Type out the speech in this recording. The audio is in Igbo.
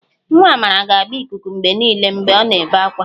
Nwa Amara ga-agba ikuku mgbe niile mgbe ọ na-ebe ákwá